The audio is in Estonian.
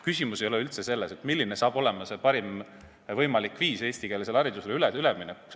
Küsimus ei ole üldse selles, milline on parim võimalik viis eestikeelsele haridusele üleminekuks.